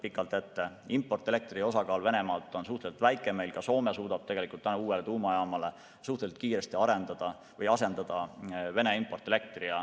Venemaalt tuleva importelektri osakaal on suhteliselt väike ja Soome suudab tänu uuele tuumajaamale suhteliselt kiiresti meil asendada Vene importelektri.